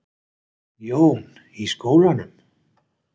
Jón: Í skólanum?